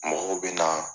Mɔgɔw bɛ na